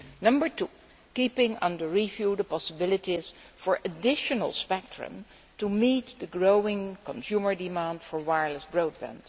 Number two keeping under review the possibilities for additional spectrum to meet the growing consumer demand for wireless broadband.